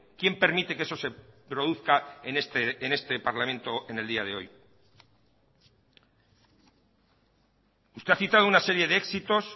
quién permite que eso se produzca en este parlamento en el día de hoy usted ha citado una serie de éxitos